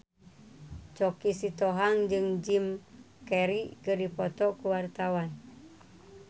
Choky Sitohang jeung Jim Carey keur dipoto ku wartawan